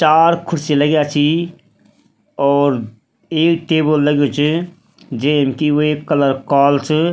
चार खुर्सी लग्या छिं और एक टेबल लग्युं च जेन की वेकु कलर कालू च।